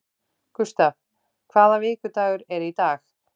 Gustav, hvaða vikudagur er í dag?